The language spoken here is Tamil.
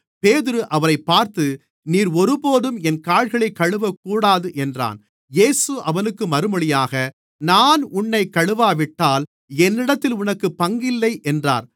பேதுரு அவரைப் பார்த்து நீர் ஒருபோதும் என் கால்களைக் கழுவகூடாது என்றான் இயேசு அவனுக்கு மறுமொழியாக நான் உன்னைக் கழுவாவிட்டால் என்னிடத்தில் உனக்குப் பங்கில்லை என்றார்